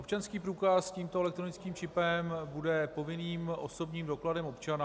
Občanský průkaz s tímto elektronickým čipem bude povinným osobním dokladem občana.